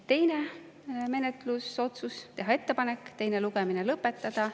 Teine menetlusotsus oli teha ettepanek teine lugemine lõpetada.